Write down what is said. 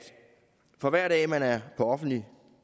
for hver dag man er på offentlig